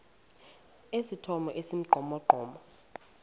esithomo esi sibugqomogqomo